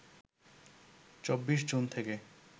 ২৪ June থেকে